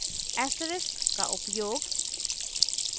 asterisk का उपयोग